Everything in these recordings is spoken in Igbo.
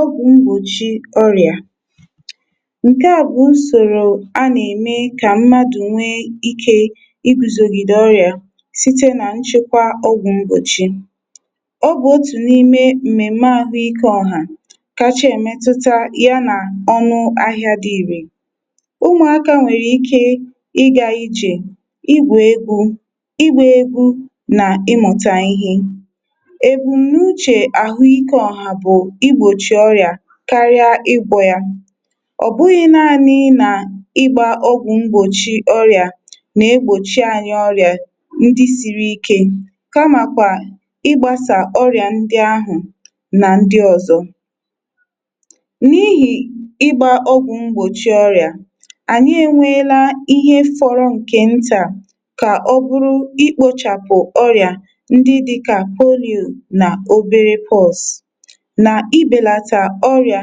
Ọgwụ̀ mgbochi ọrịà nke à bụ̀ nsòrò a nà-ème kà mmadụ̀ nwee ike iguzogide ọrịà sìtè nà nchekwa ọgwụ̀ mgbochì. Ọbụ̀ otù n’ime m̀mèm̀me ahụ̀ike ọhà kàchà èmetutà ya nà ọnụ̇ ahịà dị irè. Umùakȧ nwèrè ike ịgȧ ijè, igwè egwù, igba egwù nà ịmụ̀tà ihe. Ebù n’uchè àhụikė ọhà bụ̀ igbochi oria karia igwọ ya. Ọbụghị̇ naanị̇ nà ịgbȧ ọgwụ̀ mgbòchi ọrị̀ȧ nà egbȯchi ànyị ọrị̀ȧ ndị siri ike, kamàkwà ịgbȧsà ọrị̀à ndị ahụ̀ nà ndị ọzọ̇. N’ihì ịgbȧ ọgwụ̀ mgbòchi ọrị̀ȧ, ànyị enweela ihe fọrọ ǹkè ntà kà ọ bụrụ ịkpȯchàpụ̀ ọrị̀à ndị dịkà; Polio nà obere pox, na-ibelata òrɪ́á,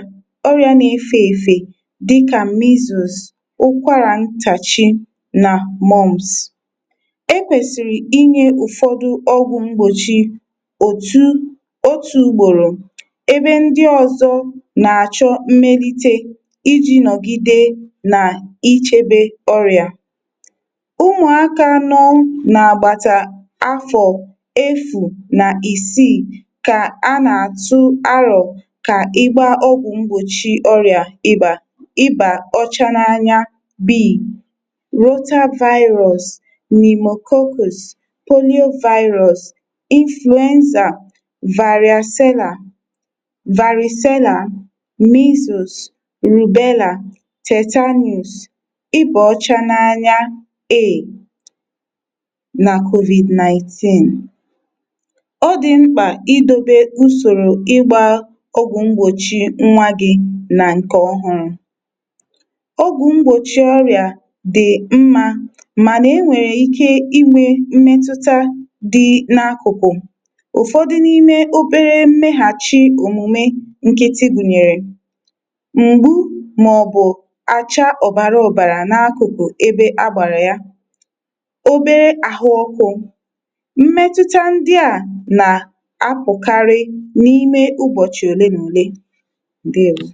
òrɪ́á nà-efè èfè dị kà measles, ụkwàrà ntàchi nà Mumps. Ekwèsìrì inyė ụ̀fọdụ ọgwụ̀ mgbòchi òtù otù ugbòrò ebe ndị ọzọ nà-àchọ mmelite iji nọ̀gide nà ichebe ọrịà. Ụmụ̀aka nọ̀ nà-àgbàtà afọ̀ efu̇ nà isii kà a nà-àtụ arọ̀ iba, ìbà ọcha n’anya bè, Rotavirus, Pneumococcous Poliovirus, Influenza, Varìcella, Varicella, Measles, Rubelaa, Tetanus, ịbà ọcha n’anya A na COVID- nineteen. Ọ dị̀ mkpà idȯbe usòrò ịgbȧ ogwụ mgbochi nwa gị na nke ọhụụ. Ọgwụ mgbochi ọrịa dị mma, mana e nwere ike inwe mmetụta dị n’akụkụ, ụfọdụ n’ime obere mmeghachi omume nkịtị gụnyere, m̀gbu ma ọ bụ acha ọbara ọbara n’akụkụ ebe a gbara ya obere ahụ ọkụ mmetụta ndị a na-apụkarị nime ubochi ole na ole, ǹdewȯ.